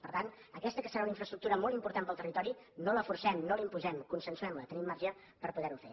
per tant aquesta que serà una infraestructura molt important per al territori no la forcem no la imposem consensuem la tenim marge per poder ho fer